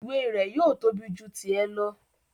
Ìwé rẹ̀ yóò tóbi ju tì ẹ lọ